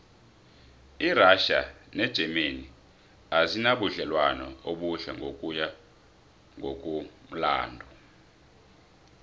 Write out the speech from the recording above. irassia negermany azinabudlelwano obuhle ngokuya ngokumlando